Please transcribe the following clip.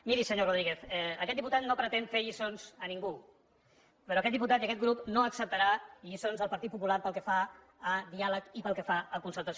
miri senyor rodríguez aquest diputat no pretén fer lliçons a ningú però aquest diputat i aquest grup no acceptaran lliçons del partit popular pel que fa a diàleg i pel que fa a concertació